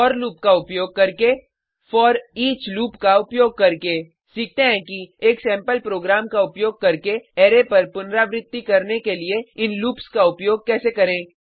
four loop का उपयोग करके फोरिच लूप का उपयोग करके सीखते हैं कि एक सैम्पल प्रोग्राम का उपयोग करके अरै पर पुनरावृति करने के लिए इन लूप्स का उपयोग कैसे करें